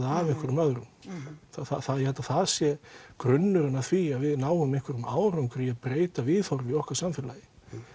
af einhverjum öðrum ég held að það sé grunnurinn að því að við náum einhverjum árangri í að breyta viðhorfi í okkar samfélagi